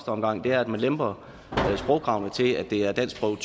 omgang er at man lemper sprogkravene til at det er danskprøve